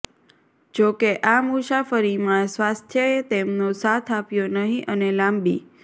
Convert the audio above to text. જો કે આ મુસાફરીમાં સ્વાસ્થ્યએ તેમનો સાથ આપ્યો નહિં અને લાંબી